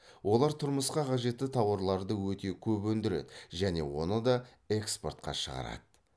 олар тұрмысқа қажетті тауарларды өте көп өндіреді және оны да экспортқа шығарады